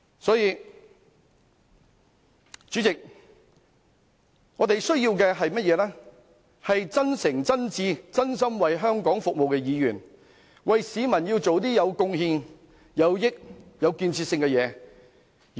因此，代理主席，我們需要的是真誠、真摯、真心為香港服務的議員，為市民做些有貢獻、有裨益、有建設性的事情。